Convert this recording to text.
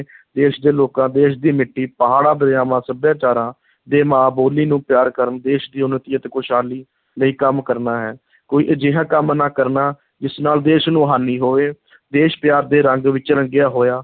ਦੇਸ਼ ਦੇ ਲੋਕਾਂ, ਦੇਸ਼ ਦੀ ਮਿੱਟੀ, ਪਹਾੜਾਂ, ਦਰਿਆਵਾਂ, ਸੱਭਿਆਚਾਰਾਂ ਦੇ ਮਾਂ ਬੋਲੀ ਨੂੰ ਪਿਆਰ ਕਰਨ, ਦੇਸ਼ ਦੀ ਉੱਨਤੀ ਅਤੇ ਖੁਸ਼ਹਾਲੀ ਲਈ ਕੰਮ ਕਰਨਾ ਹੈ, ਕੋਈ ਅਜਿਹਾ ਕੰਮ ਨਾ ਕਰਨਾ, ਜਿਸ ਨਾਲ ਦੇਸ਼ ਨੂੰ ਹਾਨੀ ਹੋਵੇ ਦੇਸ਼ ਪਿਆਰ ਦੇ ਰੰਗ ਵਿੱਚ ਰੰਗਿਆ ਹੋਇਆ